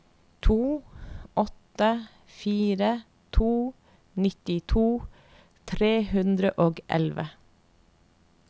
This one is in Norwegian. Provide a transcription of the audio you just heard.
to åtte fire to nittito tre hundre og elleve